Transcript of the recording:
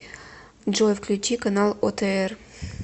джой включи канал отр